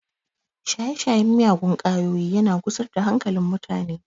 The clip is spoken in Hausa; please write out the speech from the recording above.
Shaye-shayen miyagun kwayoyi yana gusar da hankalin mutane